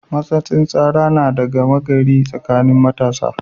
Matsatsin tsara na da gama gari tsakanin matasa.